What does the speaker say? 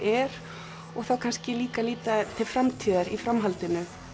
er og þá kannski líka líta til framtíðar í framhaldinu